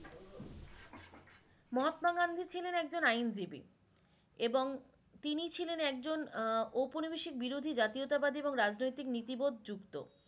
মহত্মা গান্ধী ছিলেন একজন আইনজীবী এবং তিনি ছিলেন একজন উপনিবেশিক বিরোধী জাতীয়তাবাদী এবং রাজনৈতিক বোধ যুক্ত।